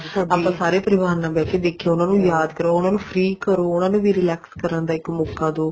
ਆਪਾਂ ਸਾਰੇ ਪਰਿਵਾਰ ਨਾਲ ਬਹਿ ਕੇ ਦੇਖੀਏ ਉਹਨਾ ਨੂੰ ਯਾਦ ਕਰੋ ਉਹਨਾ ਨੂੰ free ਕਰੋ ਉਹਨਾ ਨੂੰ ਵੀ relax ਕਰਨ ਦਾ ਇੱਕ ਮੋਕਾ ਦਿਓ